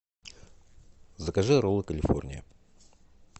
закажи роллы калифорния